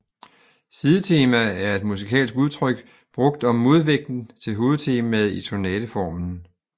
Sidetema er et musikalsk udtryk brugt om modvægten til hovedtemaet i sonateformen